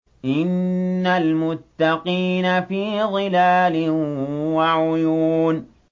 إِنَّ الْمُتَّقِينَ فِي ظِلَالٍ وَعُيُونٍ